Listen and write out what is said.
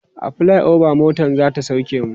a flyover motan zata sauke mu